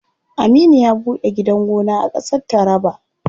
Aminu ya ɓuɗe gidan gona a ƙasar taraba.